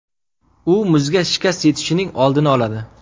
U muzga shikast yetishining oldini oladi.